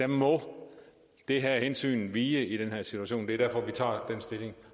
må det her hensyn vige i denne situation det er derfor vi tager den stilling